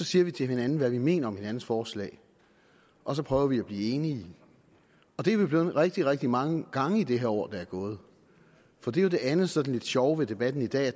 siger til hinanden hvad vi mener om hinandens forslag og så prøver vi at blive enige og det er vi blevet rigtig rigtig mange gange i det her år der er gået og det er jo det andet sådan lidt sjove ved debatten i dag at